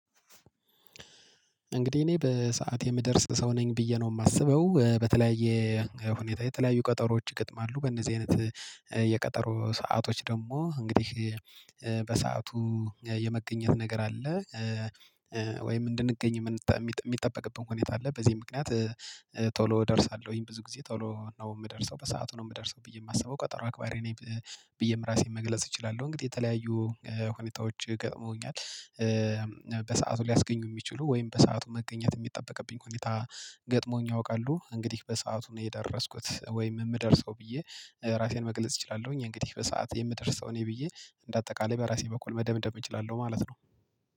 እንግዲህ እኔ በሰአት የምደርስ ሰው ነኝ ብዬ ነው የማስበው በተለያየ ሁኔታ የተለያዩ ቀጠሮዎች ይገጥማሉ በእነዚህ አይነት የቀጠሮ ሰአቶች ደግሞ እንግዲህ በሰአቱ የመገኘት ነገር አለ። ወይም እንድንገኝ የሚጠበቅብን ሁኔታ አለ በዚህ ምክንያት ቶሎ እደርሳለሁኝ ብዙ ጊዜ ቶሎ ነው የምደርሰው በሰአቱ ነው የምደርሰው ብዬ የማስበው ቀጠሮ አክባሪ ነኝ። ብዬም ራሴን መግለጽ እችላለሁ እንግዲህ የተለያዩ ሁኔታዎች ገጥሞኛል። በሰአቱ ሊያስገኙ የሚችሉ ወይም በሰአቱ መገኘት የሚጠበቅብኝ ሁኔታ ገጥሞኝ ያውቃሉ እንግዲህ በሰአቱ ነው የደረስኩት ወይም የምደርሰው ብዬ ራሴን መግለጽ እችላለሁኝ። እንግዲህ በሰአት የምደርስ ሰው ነኝ ብዬ እንደ አጠቃላይ በራሴ በኩል መደምደም እችላለሁ ማለት ነው።